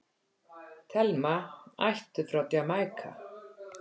Thelma, ættuð frá Jamaíka.